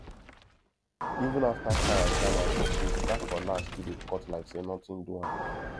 even after fire jam am for bush that cutlass still dey cut like say nothing do am